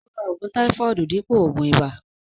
Ó ra ògùn táífọọdu dípò ògùn ìbà